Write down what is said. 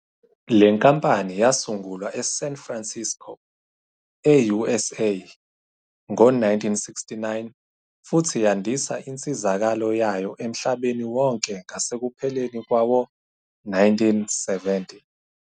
Le nkampani yasungulwa eSan Francisco, e-USA, ngo-1969 futhi yandisa insizakalo yayo emhlabeni wonke ngasekupheleni kwawo-1970.